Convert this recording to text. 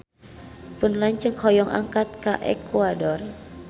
Pun lanceuk hoyong angkat ka Ekuador